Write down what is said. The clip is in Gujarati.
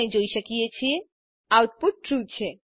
આપણે જોઈ શકીએ છીએ આઉટપુટ ટ્રૂ છે